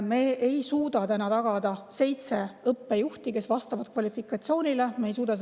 Me ei suuda tagada seitset õppejuhti, kes vastavad kvalifikatsiooni.